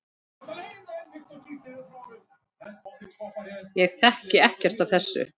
Ég þekki ekkert af þessu.